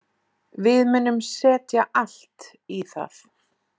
Við munum setja allt í það.